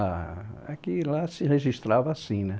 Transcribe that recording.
Ah, é que lá se registrava assim, né?